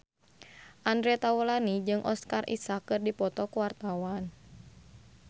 Andre Taulany jeung Oscar Isaac keur dipoto ku wartawan